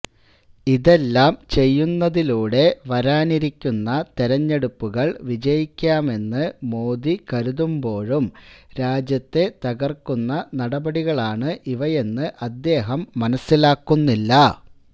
ഇതെല്ലാം ചെയ്യുന്നതിലൂടെ വരാനിരിക്കുന്ന തെരഞ്ഞെടുപ്പുകള് വിജയിക്കാമെന്ന് മോദി കരുതുമ്പോഴും രാജ്യത്തെ തകര്ക്കുന്ന നടപടികളാണ് ഇവയെന്ന് അദ്ദേഹം മനസിലാക്കുന്നില്ല